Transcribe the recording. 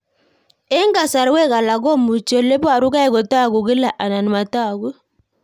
Eng'kasarwek alak komuchi ole parukei kotag'u kila anan matag'u